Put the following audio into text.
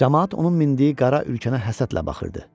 Camaat onun mindiyi qara ülkənə həsədlə baxırdı.